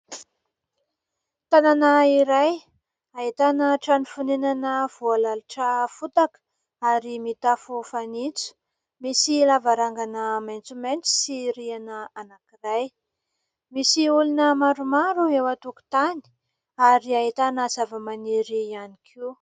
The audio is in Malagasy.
Tanàna iray ahitana trano fonenana voalalotra fotaka ary mitafo fanitso, misy lavarangana maitsomaitso sy riana anankiray, misy olona maromaro eo an-tokotany ary ahitana zavamaniry ihany koa.